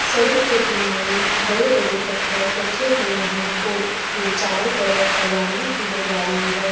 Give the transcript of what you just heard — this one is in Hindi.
सड़क के किनारे बड़े-बड़े पत्थर रखे हुए हैं और उसके चारों तरफ हरियाली ही हरियाली है।